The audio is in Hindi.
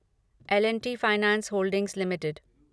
L and T finance holdings limited